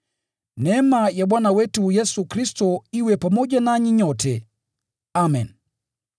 Neema ya Bwana wetu Yesu Kristo iwe pamoja nanyi nyote. Amen.]